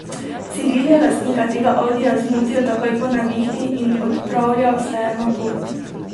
Ciril je lastnika tega audija zmotil takoj po nevihti in odpravljal se je na pot.